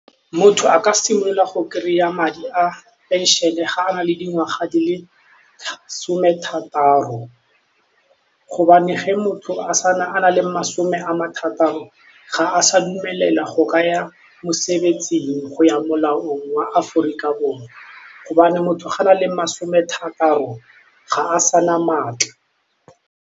Motho a ka simolla go kry-a madi a phenšene ga a na le dingwaga di le some thataro gobane ge motho a nale masome a ma thataro ga a sa dumelelwa go ka ya mosebetsing go ya molaong wa Aforika Borwa gobane motho ga a na le masome thataro ga a sa na maatla.